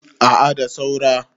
a a da saura